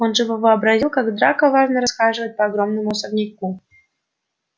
он живо вообразил как драко важно расхаживает по огромному особняку